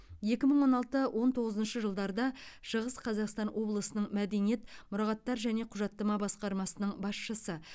екі мың он алты он тоғызыншы жылдарда шығыс қазақстан облысының мәдениет мұрағаттар және құжаттама басқармасының басшысы